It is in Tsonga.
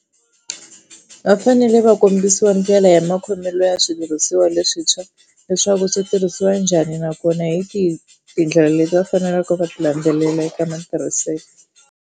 Va fanele va kombisiwa ndlela ya makhomelo ya switirhisiwa leswintshwa leswaku swi tirhisiwa njhani nakona hi tihi tindlela leti va faneleke va ti landzelela eka matirhiselo.